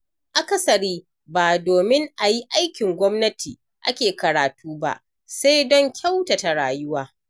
Akasari ba domin a yi aikin gwannati ake karatu ba sai don kyautata rayuwa.